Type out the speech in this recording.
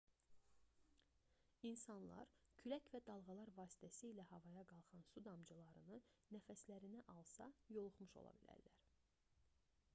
i̇nsanlar külək və dalğalar vasitəsilə havaya qalxan su damcılarını nəfəslərinə alsa yoluxmuş ola bilərlər